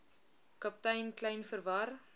kaptein kleyn verwar